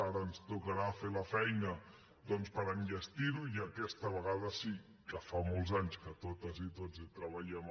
ara ens tocarà fer la feina per enllestir ho i aquesta vegada sí que fa molts anys que totes i tots hi treballem